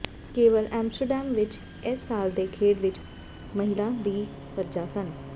ਕੇਵਲ ਆਮ੍ਸਟਰਡੈਮ ਵਿੱਚ ਇਸ ਸਾਲ ਦੇ ਖੇਡ ਵਿਚ ਮਹਿਲਾ ਦੀ ਪਰਜਾ ਸਨ